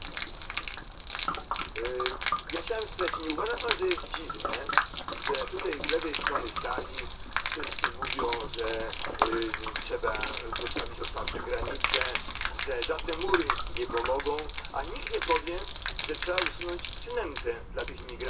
Ja chciałem spytać, czy nie uważa pan za dziwne, że tutaj z lewej strony sali wszyscy mówią, że trzeba zostawić otwarte granice, że żadne mury nie pomogą, a nikt nie powie, że trzeba usunąć przynętę dla tych imigrantów, mianowicie zasiłki socjalne.